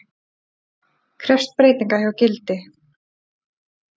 Krefst breytinga hjá Gildi